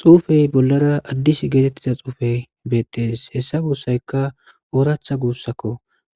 Xufey bollara addis geetettiza xuufey beettees hessa guussayka ooratha guussakko